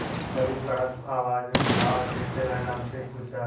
तभी कड़क आवाज में महाराज ने तेनालीराम से पूछा